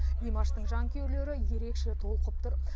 димаштың жанкүйерлері ерекше толқып тұр